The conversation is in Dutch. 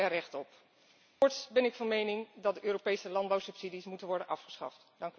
Zij hebben er recht op. Voorts ben ik van mening dat de Europese landbouwsubsidies moet worden afgeschaft.